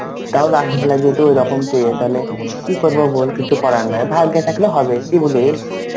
তাও last বেলা যদি ওরকম পেয়ে তালে কি করবো বল কিছু করার নাই ভাগ্যে থাকলে হবে কি বলি.